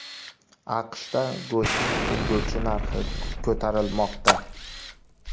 AQShda go‘shtning ulgurji narxi ko‘tarilmoqda.